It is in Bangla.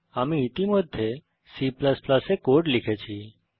আমি ইতিমধ্যে C এ কোড লিখেছি